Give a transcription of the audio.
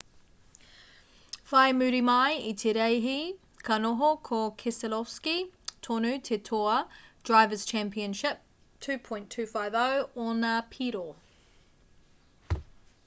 whai muri mai i te reihi ka noho ko keselowski tonu te toa drivers' championship 2.250 ōna piro